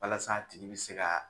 Walasa a tigi bɛ se ka